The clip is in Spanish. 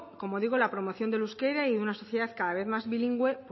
como digo la promoción del euskera y en una sociedad cada vez más bilingüe